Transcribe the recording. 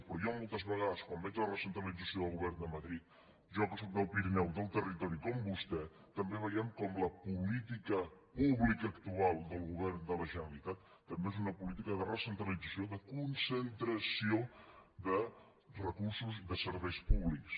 però jo mol·tes vegades quan veig la recentralització del govern de madrid jo que sóc del pirineu del territori com vostè també veiem com la política pública actual del govern de la generalitat també és una política de re·centralització de concentració de recursos i de ser·veis públics